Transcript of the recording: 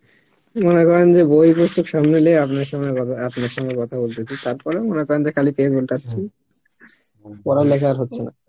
মনে করে যে বই পত্র সামনে লিয়া আপনার সামনে আপনার সঙ্গে কথা বলতেছি তার পরেও মনে করেন যে খালি page উল্টাচ্ছি, পরা লেখা আর হচ্ছে না